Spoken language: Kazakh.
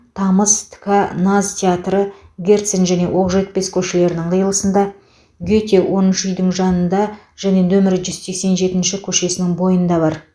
тамыз тк наз театры герцен және оқжетпес көшелерінің қиылысында гете оныншы үйдің жанында және нөмір жүз сексен жетінші көшесінің бойында бар